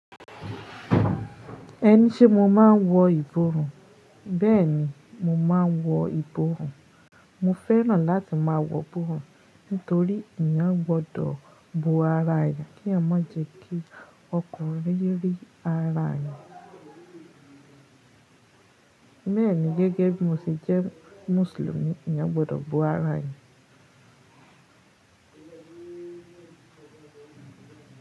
Ẹni se mo máa ń wọ ìborùn, bẹ́ẹ̀ni mo ma wọ ìborùn. Mo fẹ́ràn láti má a wọ ìborùn nítorí èèyàn gbọ́dọ̀ bu ara aya kí à má jẹ́ kí ọkọ̀ rírí ara aya. Bẹ́ẹ̀ ni gẹ́gẹ́ bí mo ṣe jẹ́ mùsùlùmí, èèyàn gbọ́dọ̀ bo ara eeyan.